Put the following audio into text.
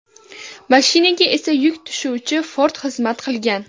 Mashinaga esa yuk tashuvchi Ford xizmat qilgan.